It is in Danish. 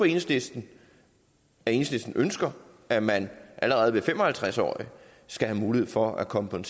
enhedslisten ønsker at man allerede ved de fem og halvtreds år skal have mulighed for at komme på en